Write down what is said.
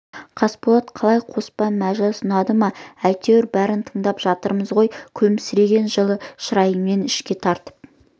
қасболат қалай қоспан мәжіліс ұнады ма әйтеуір бәрін тыңдап жатырмыз ғой күлімсіреген жылы шырайымен ішке тартып